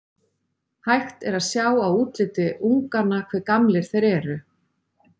Hægt er að sjá á útliti unganna hve gamlir þeir eru.